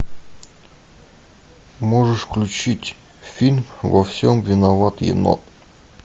можешь включить фильм во всем виноват енот